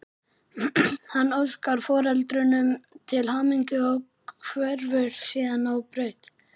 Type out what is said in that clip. Hann óskar foreldrunum til hamingju og hverfur síðan á braut.